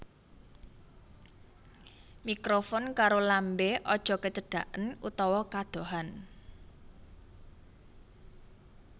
Mikrofon karo lambé aja kecedaken utawa kadohan